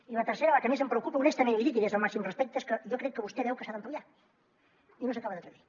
i la tercera la que més em preocupa honestament i li dic des del màxim respecte és que jo crec que vostè veu que s’ha d’ampliar i no s’acaba d’atrevir